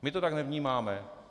My to tak nevnímáme.